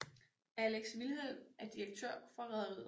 Alex Vilhelm er direktør for rederiet